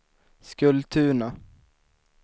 Skultuna